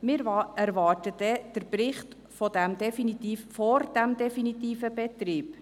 Wir erwarten einen Bericht vor dem definitiven Betrieb.